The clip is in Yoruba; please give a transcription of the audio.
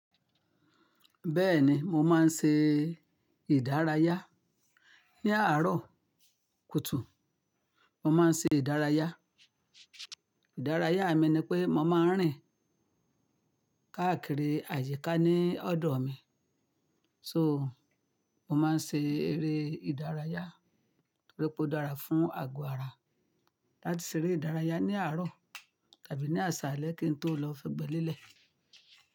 Bẹ́ẹ̀ni, mo máa ń ṣe ìdárayá. Ni àárọ̀ kùtù, mo máa ń ṣe ìdárayá. Ìdárayá mi ni pé mo máa ń rìn káàkiri àyíká ní ọ̀dọ̀ mi. So, mo máa ń ṣe eré ìdárayá. Torípé o dára fún àgọ́ ara. Láti ṣe eré ìdárayá ní àárọ̀ tàbí ní àsàlẹ kí n tó lọ fẹ́ gbẹ́ lélẹ̀.